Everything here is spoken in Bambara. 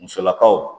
Musolakaw